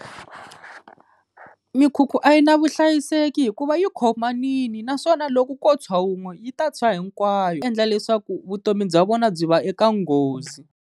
Mikhukhu a yi na vuhlayiseki hikuva yi khomanini naswona loko ko tshwa wun'we yi ta tshwa hinkwayo, endla leswaku vutomi bya vona byi va eka nghozi.